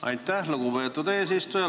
Aitäh, lugupeetud eesistuja!